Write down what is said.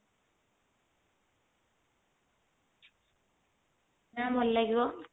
ନା ଭଲ ଲାଗିବ